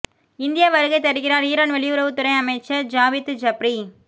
India வருகை தருகிறார் Iran வெளியுறவுத் துறை அமைச்சர் ஜாவித் ஜப்ரி